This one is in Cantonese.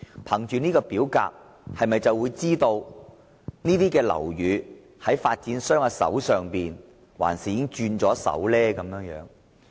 根據這份表格，大家便會知道有關樓宇仍由發展商持有抑或已經易手。